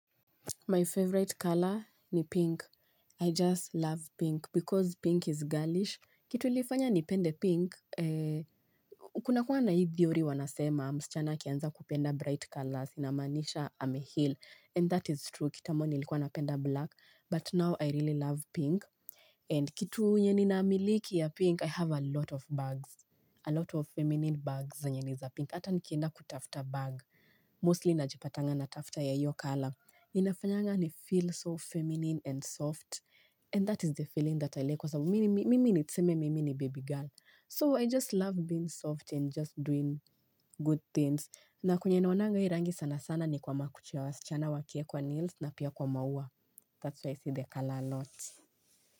My favorite color ni pink. I just love pink because pink is girlish. Kitu ilifanya ni pende pink, kuna kuwa na hii theory wanasema, msichana akianza kupenda bright colors, inamaanisha ameheal, and that is true, kitambo nilikuwa napenda black, but now I really love pink. And kitu nyenye namiliki ya pink, I have a lot of bags, a lot of feminine bags zenye niza pink, hata nikienda kutafuta bag, mostly najipatanga na tafuta ya hiyo colour. Ninafanyanga ni feel so feminine and soft And that is the feeling that I like kwa sababu mimi ni tuseme mimi ni baby girl So I just love being soft and just doing good things na kwenye naonanga hii rangi sana sana ni kwa makucha ya wasihana wakiekwa nails na pia kwa maua That's where I see the color a lot.